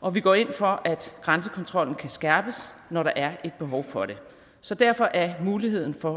og vi går ind for at grænsekontrollen kan skærpes når der er et behov for det så derfor er muligheden for